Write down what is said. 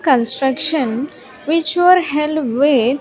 Construction which were held with --